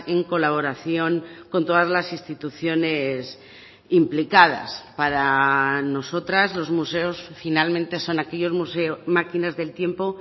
en colaboración con todas las instituciones implicadas para nosotras los museos finalmente son aquellos museos máquinas del tiempo